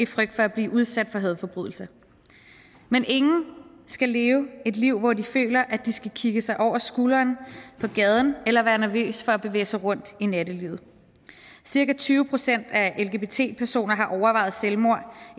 frygt for at blive udsat for hadforbrydelser men ingen skal leve et liv hvor de føler at de skal kigge sig over skulderen på gaden eller være nervøs for at bevæge sig rundt i nattelivet cirka tyve procent af lgbt personer har overvejet selvmord